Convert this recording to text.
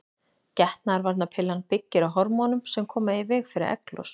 Getnaðarvarnarpillan byggir á hormónum sem koma í veg fyrir egglos.